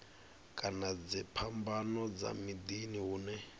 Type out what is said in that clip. kana dziphambano dza miḓini hune